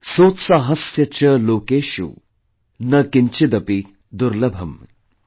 Sotsaahasya cha lokeshu na kinchidapi durlabham ||